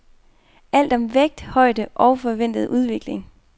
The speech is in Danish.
Alt om vægt, højde og forventede udvikling.